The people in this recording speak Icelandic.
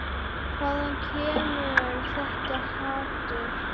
Hvaðan kemur þetta hatur?